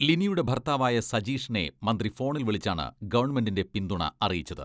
ലിനിയുടെ ഭർത്താവായ സജീഷിനെ മന്ത്രി ഫോണിൽ വിളിച്ചാണ് ഗവൺമെന്റിന്റെ പിന്തുണ അറിയിച്ചത്.